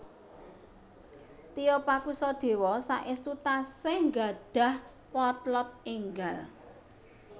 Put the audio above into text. Tio Pakusadewo saestu tasih nggadhah potlot enggal